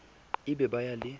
e be ba ya le